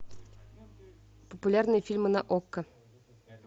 популярные фильмы на окко